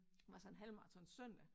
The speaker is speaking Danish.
Var så en halvmaraton søndag